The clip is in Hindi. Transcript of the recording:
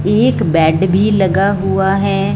एक बेड भी लगा हुआ है।